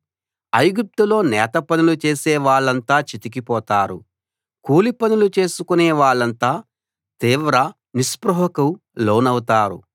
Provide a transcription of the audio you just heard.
ఐగుప్తులో నేత పనులు చేసే వాళ్ళంతా చితికి పోతారు కూలి పనులు చేసుకునే వాళ్ళంతా తీవ్ర నిస్పృహకు లోనవుతారు